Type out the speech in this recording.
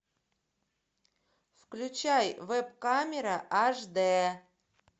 включай веб камера аш дэ